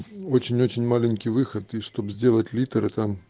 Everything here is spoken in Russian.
очень-очень маленький выход и чтоб сделать литры там